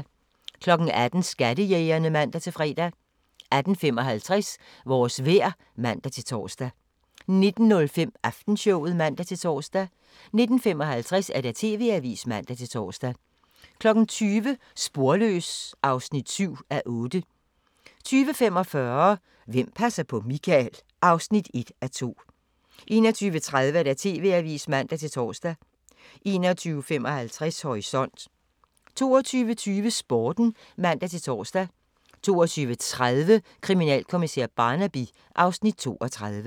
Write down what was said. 18:00: Skattejægerne (man-fre) 18:55: Vores vejr (man-tor) 19:05: Aftenshowet (man-tor) 19:55: TV-avisen (man-tor) 20:00: Sporløs (7:8) 20:45: Hvem passer på Michael? (1:2) 21:30: TV-avisen (man-tor) 21:55: Horisont 22:20: Sporten (man-tor) 22:30: Kriminalkommissær Barnaby (Afs. 32)